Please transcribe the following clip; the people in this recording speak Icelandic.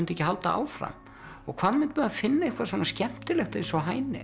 ekki halda áfram og hvað mundi maður finna eitthvað svona skemmtilegt eins og